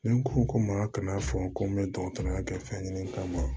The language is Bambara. Ni ko ko ma ka na fɔ ko n bɛ dɔkɔtɔrɔya kɛ fɛn ɲini kama